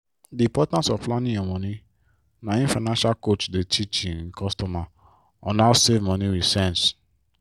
di importance of planning your money na im financial coach dey teach im customer on how save money with sense.